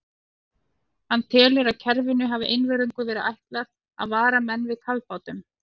Hann telur, að kerfinu hafi einvörðungu verið ætlað að vara menn við kafbátum.